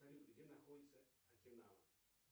салют где находится окинава